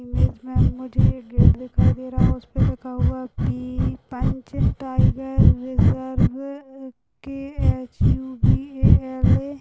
image मे मुझे एक gate दिखाई दे रहा उसपे लिखा हुआ पी पेंच टायगर रिज़र्व अह के_एच_यू_वी_ए_एल_ए --